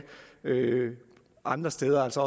andre steder så